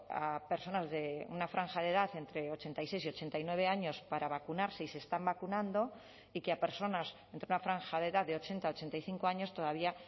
a personal de una franja de edad entre ochenta y seis y ochenta y nueve años para vacunarse y se están vacunando y que a personas entre una franja de edad de ochenta a ochenta y cinco años todavía